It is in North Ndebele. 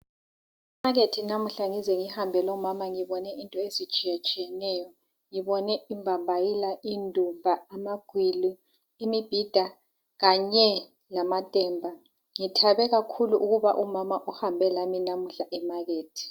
Emakethe namuhla ngize ngihambe lomama, ngibone izinto ezitshiyetshiyeneyo. Ngibone imbambayila, indumba, amagwili, imibhida. Kanye lamatemba. Ngithabe kakhulu ukuba umama uhambe lami namuhla emakethe.